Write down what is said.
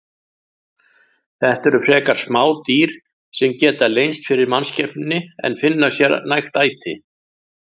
Þetta eru frekar smá dýr sem geta leynst fyrir mannskepnunni en finna sér nægt æti.